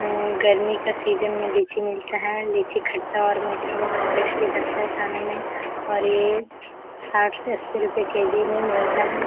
हम्म गर्मी का सीजन में लीची मिलता है। लीची खट्टा और मीठा बोहोत टेस्टी लगता है खाने में और ये साठ से अस्सी रुपया के_जी में मिलता है।